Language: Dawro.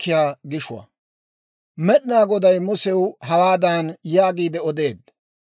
Med'inaa Goday Musew hawaadan yaagiide odeedda;